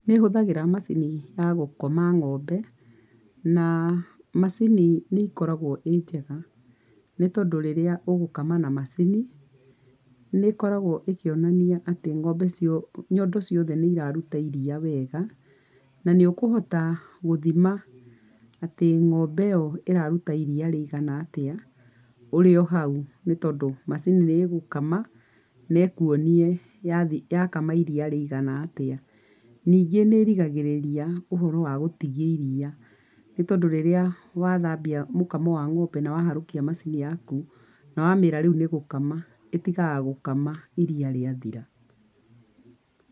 Nĩhũthagĩra macini ya, gũkoma ng'ombe, na, macini nĩkoragwo ĩ njega, nĩtondũ rĩrĩa ũgũkama na macini, nĩkoragwo ĩkĩonania atĩ ng'ombe cio, nyondo ciothe, nĩiraruta iria wega, nanĩũkũhota, gũthima, atĩ ng'ombe ĩyo, ĩraruta iria rĩigana atĩa, ũrĩ ohau, nĩtondũ, macini nĩgũkama, nekuonie yathi yakama iria rĩigana atĩa. Ningĩ nĩgiragĩrĩria ũhoro wa gũtigia iria, nĩtondũ rĩrĩa wathambia mũkamo wa ng'ombe na waharũkia macini yaku, nawamĩra rĩu nĩgũkama, ĩtigaga gũkama iria rĩathira.